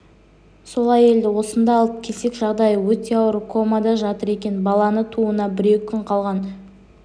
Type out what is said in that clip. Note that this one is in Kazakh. сол әйелді осында алып келсек жағдайы өте ауыр комада жатыр екен баланы тууына бір-екі күн қалған